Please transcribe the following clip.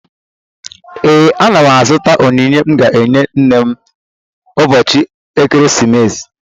Ee, ana m azụta onyinye m ga-enye nne m ụbọchị ekeresimesi